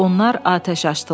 Onlar atəş açdılar.